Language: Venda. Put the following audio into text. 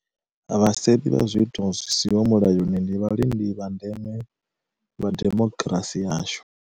Vhasevhi vha zwiito zwi siho mulayoni ndi vhalindi vha ndeme vha demokirasi yashu.